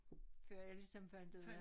Før jeg ligesom fandt ud af